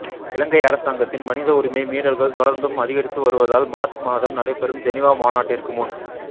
இலங்கை அரசாங்கத்தின் மனித உரிமை மீறல்கள் தொடர்ந்தும் அதிகரித்துவருவதால் மார்ச் மாதம் நடைபெறும் ஜெனிவா மாநாட்டிற்குமுன்